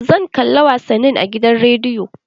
Zan kalla wasanni a gidan rediyo